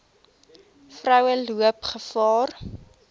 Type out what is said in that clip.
vroue loop gevaar